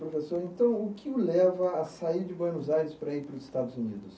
Professor, então, o que o leva a sair de Buenos Aires para ir para os Estados Unidos?